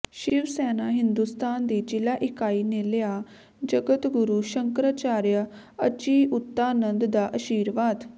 ਸ਼ਿਵਸੈਨਾ ਹਿੰਦੁਸਤਾਨ ਦੀ ਜ਼ਿਲ੍ਹਾ ਇਕਾਈ ਨੇ ਲਿਆ ਜਗਤਗੁਰੂ ਸ਼ੰਕਰਾਚਾਰਿਆ ਅਚਿਉਤਾਨੰਦ ਦਾ ਅਸ਼ੀਰਵਾਦ